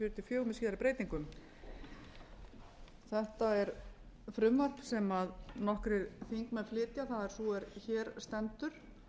fjögur með síðari breytingum þetta er frumvarp sem nokkrir þingmenn flytja það er sú er hér stendur